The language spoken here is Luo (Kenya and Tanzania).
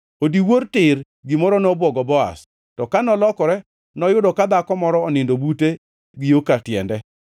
Odiwuor tir, gimoro nobwogo Boaz. To ka nolokore noyudo ka dhako moro onindo bute gi yo katiende.